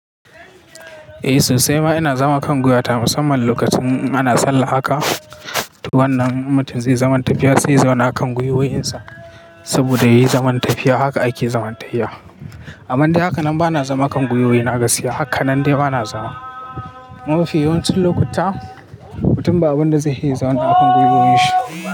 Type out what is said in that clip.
Eh sosai ma ina zama kan guiwata musamman lokacin ana sallah haka. Wannan mutum zai zaman tafiya sai zai zama akan gwiwoyinsa saboda yayi zaman tafiya. Haka ake zaman tafiya. Amande hakan nan ba na zama akan gwiwoyi na ka siya hakan nan dai ba na zama. Mafi yawancin lokuta mutum ba abunda zai iya zama akan gwiwoyin shi.